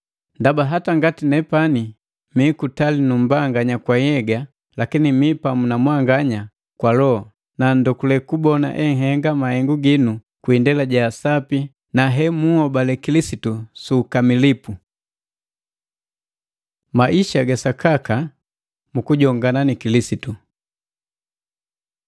Ndaba hata ngati nepani mi kutali nu mbanganya kwa nhyega, lakini mi pamu na mwanganya kwa loho, na ndogule kubona enhenga mahengu ginu kwi indela ja sapi na hemunhobale Kilisitu su ukamilipu. Maisha ga sakaka mu kujongana ni Kilisitu